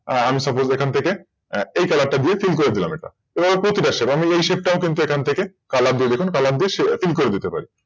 আর আমি Suppose এখান থেকে কি Colour টা দিয়ে Fill করে দিলাম। এবার প্রতিটা Shape আমি এই Shape তাও কিন্তু এখান থেকে Shape দিয়ে দেখুন Color দিয়ে Fill করে দিতে পারি।